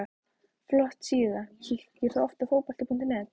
Flott síða Kíkir þú oft á Fótbolti.net?